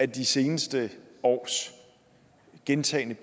de seneste års gentagne